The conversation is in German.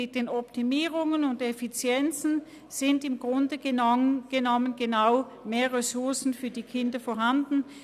Mit den Optimierungen und Effizienzen sind im Grunde genommen mehr Ressourcen für die Kinder vorhanden.